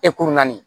naani